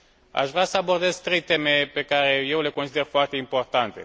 Aș vrea să abordez trei teme pe care eu le consider foarte importante.